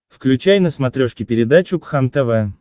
включай на смотрешке передачу кхлм тв